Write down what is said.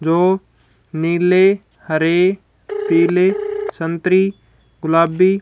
जो नीले हरे पीले संत्री गुलाबी--